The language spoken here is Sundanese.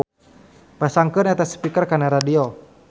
Pasangkeun eta speaker kana radio.